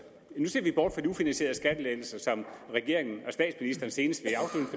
nu ser vi bort fra de ufinansierede skattelettelser som regeringen og statsministeren senest